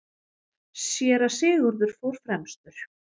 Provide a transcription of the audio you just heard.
Síra Sigurður fór fremstur.